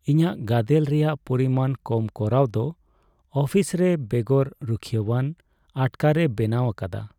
ᱤᱧᱟᱹᱜ ᱜᱟᱫᱮᱞ ᱨᱮᱭᱟᱜ ᱯᱚᱨᱤᱢᱟᱱ ᱠᱚᱢ ᱠᱚᱨᱟᱣ ᱫᱚ ᱚᱯᱷᱤᱥ ᱨᱮ ᱵᱮᱜᱚᱨ ᱨᱩᱠᱷᱤᱭᱟᱹᱣᱟᱱ ᱟᱴᱠᱟᱨᱮ ᱵᱮᱱᱟᱣ ᱟᱠᱟᱫᱟ ᱾